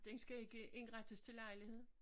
Den skal ikke indrettes til lejligheder?